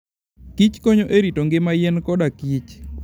kich konyo e rito ngima yien kodakich.